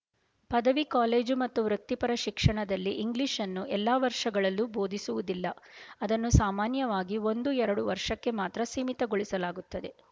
ಪದವಿ ಕಾಲೇಜು ಮತ್ತು ವೃತ್ತಿಪರ ಶಿಕ್ಷಣದಲ್ಲಿ ಇಂಗ್ಲೀಷ್ ನ್ನು ಎಲ್ಲಾ ವರ್ಷಗಳಲ್ಲೂ ಬೋಧಿಸುವುದಿಲ್ಲ ಅದನ್ನು ಸಾಮಾನ್ಯವಾಗಿ ಒಂದು ಎರಡು ವರ್ಷಕ್ಕೆ ಮಾತ್ರ ಸೀಮಿತಗೊಳಿಸಲಾಗುತ್ತದೆ